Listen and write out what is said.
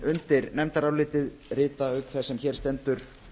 undir nefndarálitið rita auk þess sem hér stendur